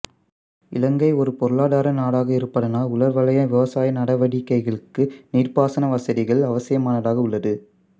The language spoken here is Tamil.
இலங்கை ஒரு பொருளாதார நாடாக இருப்பதனால் உலர்வலய விவசாய நடவடிக்கைகளுக்கு நீர்ப்பாசன வசதிகள் அவசியமானதாக உள்ளது